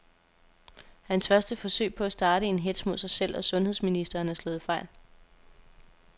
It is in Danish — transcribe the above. Hans første forsøg på at starte en hetz mod sig selv og sundheds ministeren er slået fejl.